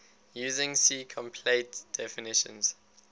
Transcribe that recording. using si compliant definitions